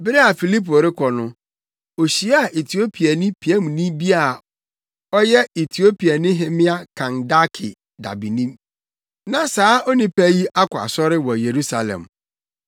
Bere a Filipo rekɔ no, ohyiaa Etiopiani piamni bi a ɔyɛ Etiopiahemmea Kandake dabeni + 8.27 Dabeni : Obi a ɔhwɛ ɔhene anaa ɔhemmea nnabea ne nʼahode so.. Na saa onipa yi akɔ asɔre wɔ Yerusalem,